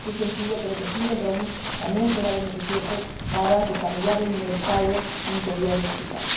En ese sentido, creo que el fin del roaming también será beneficioso para desarrollar el mercado interior digital.